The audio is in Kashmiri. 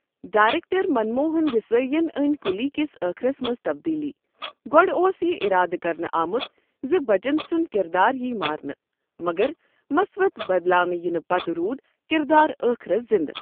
ڈایرٮ۪کٹر، منموہن دیسٲیی ین أنۍ قلی كِس ٲخِرس منٛز تبدیٖلی، گۄڈٕ اوس یہِ اِرادٕ کرنہٕ آمُت زِ بَچن سُنٛد کِراد یِیہِ مارنہٕ، مگر، مسودٕ بدلاونہٕ یِنہٕ پتہٕ روٗد کِردار ٲخرس زِنٛدٕ۔